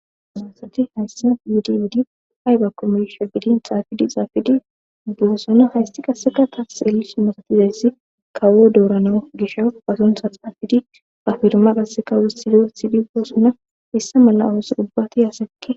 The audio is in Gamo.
asunsati nayssa yudiwidi hayga komeyshe bidin xaafidi xaafidi ubboosona haysti qaseka tas eeli sumasatizayssi kawo doorana gisha basunsa xaafidi ba firma qasse kawo sido sidi boossona hessa mala oos ubbati haasekki